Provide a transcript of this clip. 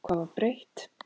Hvað var breytt?